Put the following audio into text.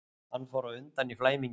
Hann fór undan í flæmingi.